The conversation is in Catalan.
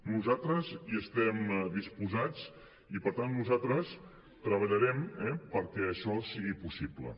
nosaltres hi estem disposats i per tant nosaltres treballarem perquè això sigui possible